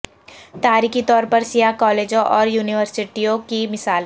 تاریخی طور پر سیاہ کالجوں اور یونیورسٹیوں کی مثال